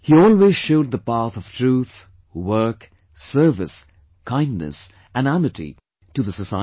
He always showed the path of truth, work, service, kindness and amity to the society